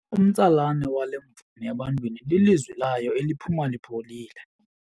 Umtsalane wale mvumi ebantwini lilizwi layo eliphuma lipholile.